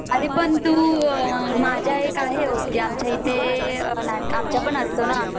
अरे पण तू माझ्या आहे एक ओळखी, आमच्या इथे नाट आमच्यापण असतो ना